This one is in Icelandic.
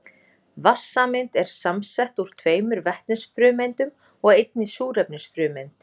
Vatnssameind eru samsett úr tveimur vetnisfrumeindum og einni súrefnisfrumeind.